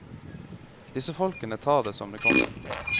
Disse folkene tar det som det kommer.